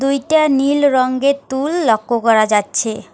দুইটা নীল রংগের তুল লক্ষ্য করা যাচ্ছে।